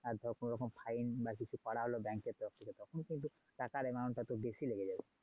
আর ধর কোনও রকম fine বা কিছু করা হলো bank এর তরফ থেকে তখন কিন্তু টাকার amount টা তোর বেশি লেগে যাবে।